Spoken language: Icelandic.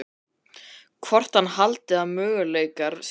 Hvort hann haldi að möguleikar séu á slíku.